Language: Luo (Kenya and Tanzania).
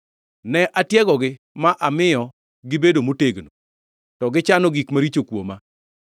Ne atiegogi ma amiyo gibedo motegno to gichano gik maricho kuoma.